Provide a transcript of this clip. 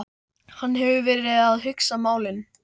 Hann hefur verið að hugsa málin.